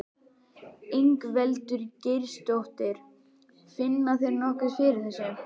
Ingveldur Geirsdóttir: Finna þeir nokkuð fyrir þessu?